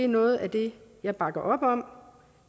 noget af det jeg bakker op om